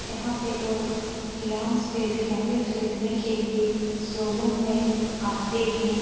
यहाँ पे लोग फिनांस पे भी गाड़ी खरीदने के लिए शोरूम में आते हैं।